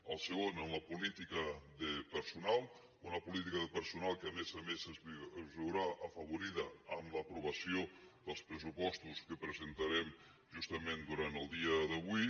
el segon en la política de personal una política de personal que a més a més es veurà afavorida amb l’aprovació dels pressupostos que presentarem justament durant el dia d’avui